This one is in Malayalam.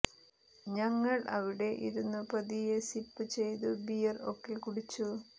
ഞങ്ങൾ അവിടെ ഇരുന്നു പതിയെ സിപ്പ് ചെയ്തു ബിയർ ഒക്കെ കുടിച്ചു